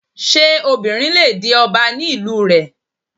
Ṣé obìnrin le di ọba ní ìlú rẹ?